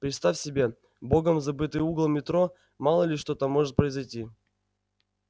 представь себе богом забытый угол метро мало ли что там может произойти